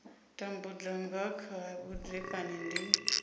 tambudza nga kha vhudzekani ndi